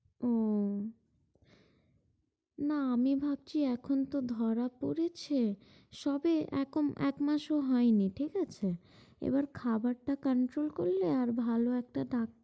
ও, না আমি ভাবছি, এখন তো ধরা পড়েছে। সবে এখন একমাসও হয়নি ঠিক আছে, এবার খাবারটা controll করলে আর ভালো একটা ডাক্তার